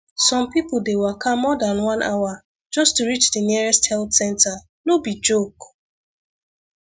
some people dey waka more than one hour just to reach the nearest health center no be joke